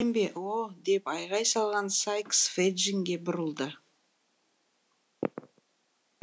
білем бе о деп айқай салған сайкс феджинге бұрылды